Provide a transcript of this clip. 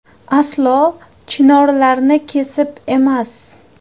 Aslo chinorlarni kesib emas.